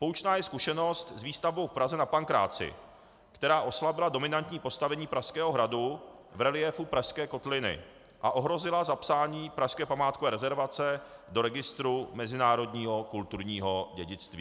Poučná je zkušenost s výstavbou v Praze na Pankráci, která oslabila dominantní postavení Pražského hradu v reliéfu pražské kotliny a ohrozila zapsání pražské památkové rezervace do registru mezinárodního kulturního dědictví.